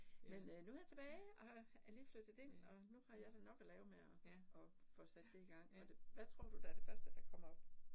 Men øh nu jeg tilbage, og har er lige flyttet ind, og nu har jeg da nok at lave med at at få sat det i gang, og det hvad tror du, der det første der kommer op?